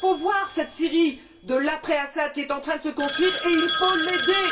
faut donc voir cette Syrie de l'après Assad qui est en train de se construire et il faut l'aider.